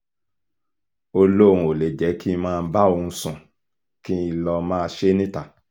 ó lóun ò lè jẹ́ kí n máa bá òun sùn kí n lọ́ọ́ máa ṣe é níta